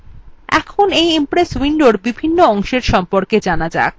এখন এই impress window বিভিন্ন অংশের সম্পর্কে জানা যাক